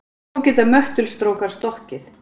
Þó geta möttulstrókar stokkið.